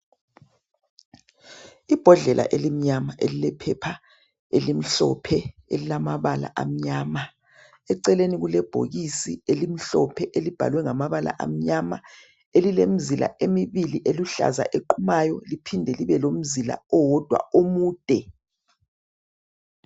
Ibhodlela elimnyama elilephepha elimhlophe elilamabala amnyama. Eceleni kulebhokisi elimhlophe elibhalwe ngamabala amnyama elilemzila emibili eluhlaza eliqumayo liphinde libe lomzila owodwa omude.